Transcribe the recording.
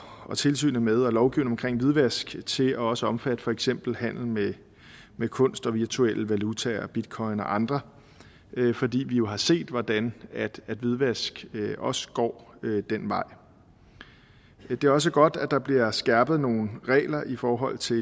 og tilsynet med og lovgivningen omkring hvidvask til også at omfatte for eksempel handel med med kunst og virtuelle valutaer bitcoin og andre fordi vi jo har set hvordan hvidvask også går den vej det er også godt at der bliver skærpet nogle regler i forhold til